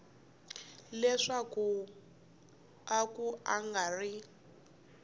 leswaku a ku nga ri